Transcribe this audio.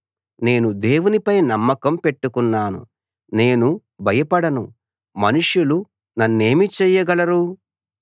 నేను దేవునిపై నమ్మకం పెట్టుకున్నాను నేను భయపడను మనుషులు నన్నేమి చేయగలరు